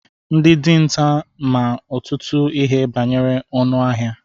Ndị dinta ma ọtụtụ ihe banyere anụ ọhịa.